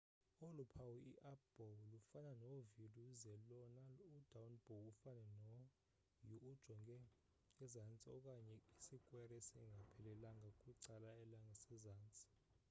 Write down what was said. olu phawu i-up bow lufana no-v luze lona u-down bow afane no-u ojonge ezantsi okanye isikwere isingaphelelanga kwicala langasezantsi